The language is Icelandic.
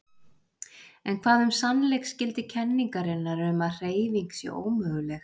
En hvað um sannleiksgildi kenningarinnar um að hreyfing sé ómöguleg?